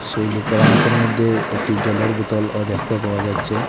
সেই লুকের হাতের মইধ্যে একটি জলের বুতল ও দ্যাখতে পাওয়া যাচ্ছে।